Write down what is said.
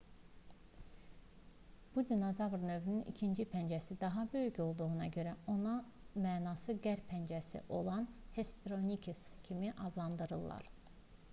bu dinozavr növünün ikinci pəncəsi daha böyük olduğuna görə onu mənası qərb pəncəsi olan hesperonychus kimi adlandırdılar